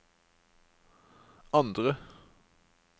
andre